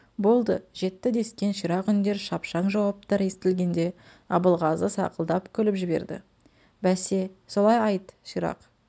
болды жетті дескен ширақ үндер шапшаң жауаптар естілгенде абылғазы сақылдап күліп жіберді бәсе солай айт ширақ